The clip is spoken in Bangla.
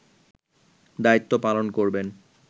দায়িত্ব পালন করবেন